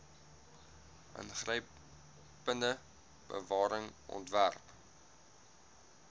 ingrypende bewaring ontwerp